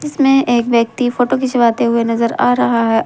इसमें एक व्यक्ति फोटो खिंचवाते हुए नजर आ रहा है ।